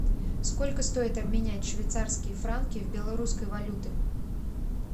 сколько стоит обменять швейцарские франки в белорусской валюты